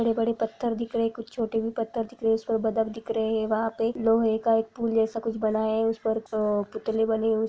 बड़े-बड़े पत्थर दिख रहे है कुछ छोटे भी दिख रहे है अउ पर बदक दिख रहा है लोहे-लोहे का पुल जैसा कुछ बना हुआ है उस पर अअअ पुतले बने है।